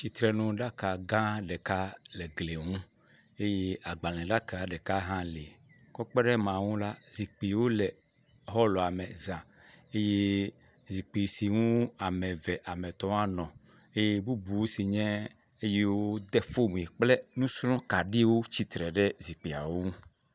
Tsitrenuɖaka gã ɖeka le gli ŋu eye agbalẽɖaka ɖeka hã li, kɔ kpe ɖe ema ŋu la, zikpuiwo le hɔlua me zã eye zikpui si ŋu eve, ame etɔ̃ anɔ eye bubuwo si nye eyiwo de fom kple nusrɔ̃kaɖiwo tsitre ɖe zikpuiwo ŋu.